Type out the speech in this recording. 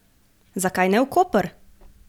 Zakaj ne v Koper?